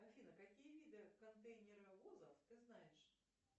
афина какие виды контейнеровозов ты знаешь